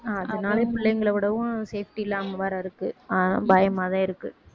அதனால பிள்ளைங்களை விடவும் safety இல்லாம வேற இருக்கு ஆஹ் பயமாதான் இருக்கு